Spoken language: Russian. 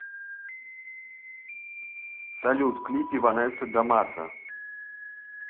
салют клипы ванесса да мата